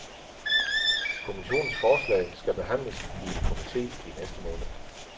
Kommissionens forslag skal behandles i en komite i næste måned.